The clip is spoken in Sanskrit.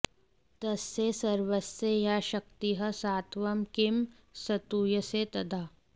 तस्य सर्वस्य या शक्तिः सात्वं किं स्तूयसे तदा